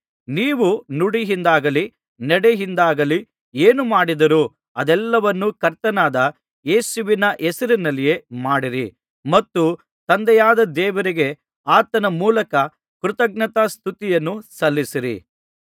ನೀವು ನುಡಿಯಿಂದಾಗಲಿ ನಡೆಯಿಂದಾಗಲಿ ಏನೇ ಮಾಡಿದರೂ ಅದೆಲ್ಲವನ್ನೂ ಕರ್ತನಾದ ಯೇಸುವಿನ ಹೆಸರಿನಲ್ಲಿಯೇ ಮಾಡಿರಿ ಮತ್ತು ತಂದೆಯಾದ ದೇವರಿಗೆ ಆತನ ಮೂಲಕ ಕೃತಜ್ಞತಾಸ್ತುತ್ತಿಯನ್ನು ಸಲ್ಲಿಸಿರಿ